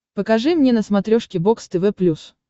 покажи мне на смотрешке бокс тв плюс